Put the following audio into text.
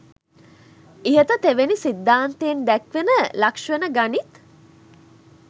ඉහත තෙවැනි සිද්ධාන්තයෙන් දැක්වෙන ලක්‍ෂණ ගනිත්.